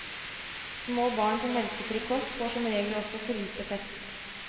Små barn på melkefri kost får som regel også for lite fett.